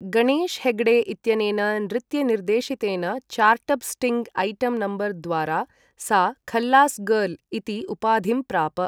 गणेश् हेग्डे इत्यनेन नृत्यनिर्देशितेन chartbusting item number द्वारा सा 'खल्लास् गर्ल्' इति उपाधिं प्राप।